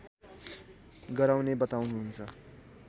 गराउने बताउनुहुन्छ